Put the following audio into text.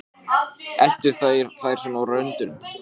En þar með er ekki sagt að átt sé við